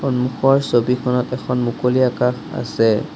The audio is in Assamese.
সন্মুখৰ ছবিখনত এখন মুকলি আকাশ আছে।